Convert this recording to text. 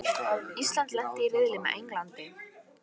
Ísland lenti í riðli með Englandi